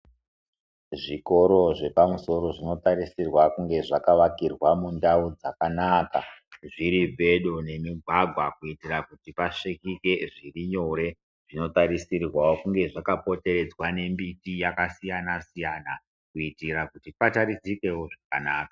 Zvikoro zvepamusoro zvinotarisirwa kunge dzakaakirwa mundau dzakanaka zviri pedo nemigwagwa kuitira kuti pasvikike zvirinyore, zvinotarisirwawo kunge zvakakomberedzwa nembiti yakasiyana siyana kuitira kuti pataridzikewo zvakanaka.